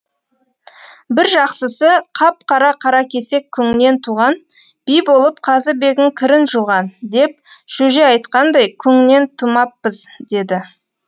бір жақсысы қап қара қаракесек күңнен туған би болып қазыбегің кірін жуған деп шөже айтқандай күңнен тумаппыз деді